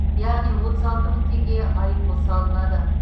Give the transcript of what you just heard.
яғни отыз алты мың теңге айыппұл салынады